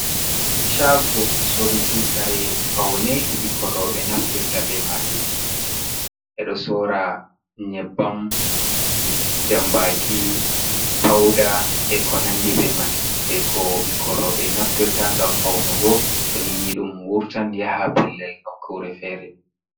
Shago soruki kare faune bikkon robe naftirta be majum e do sora nyebbam jambaki pauda e ko nandi be man je ko bikkon robe naftirta gam faunugo to nini dum wurtan yaha pellel nokkure fere.